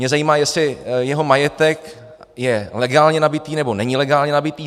Mě zajímá, jestli jeho majetek je legálně nabytý, nebo není legálně nabytý.